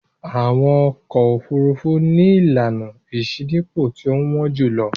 Àwọn ọkọ̀-òfurufú ni ìlànà ìṣínípò tí ó wọ́n jù lọ.